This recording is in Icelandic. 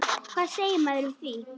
Hvað segir maður við því?